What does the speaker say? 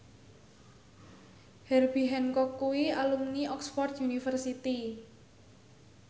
Herbie Hancock kuwi alumni Oxford university